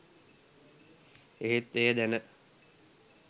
එහෙත් එය දැන